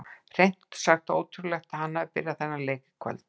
Hreint út sagt ótrúlegt að hann hafi byrjað þennan leik í kvöld.